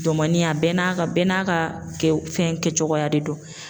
Domɛni a bɛɛ n'a ka bɛɛ n'a ka kɛw fɛn kɛcogoya de don.